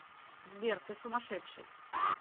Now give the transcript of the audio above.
сбер ты сумасшедший